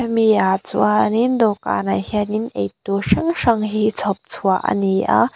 hemi ah chuanin dawhkânah hianin eitûr hrang hrang chhawp chhuah a ni a.